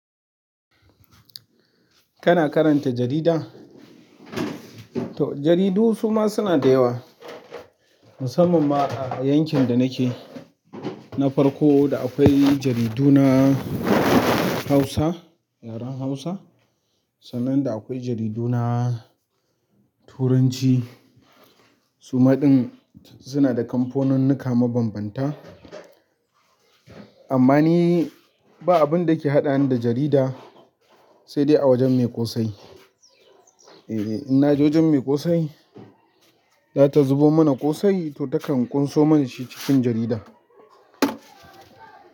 Kana karanta jarida? To jaridu suma suna da yawa, musamman ma a yankin da nake, na farko da akwai jaridu na Hausa, yaren Hausa, sannan da akwai jaridu na Turanci. Suma ɗin suna da kamfoninnika mabambanta. Amma ni ba abin da ke haɗani da jarida sai dai awajen me ƙosai. E, innaje wajen mai ƙosai, za ta zubo mana ƙosai to takan ƙunso mana shi cikin jarida.